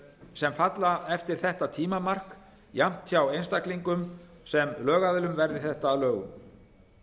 sem falla til eftir það tímamark jafnt hjá einstaklingum sem lögaðilum verði frumvarp þetta að lögum